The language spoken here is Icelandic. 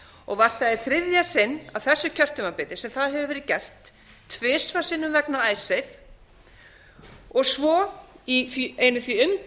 og var það í þriðja sinn á þessu kjörtímabili sem það hefur verið gert tvisvar sinnum vegna icesave og svo í einu því umdeildasta máli